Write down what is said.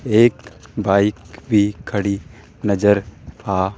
एक बाइक भी खड़ी नजर आ--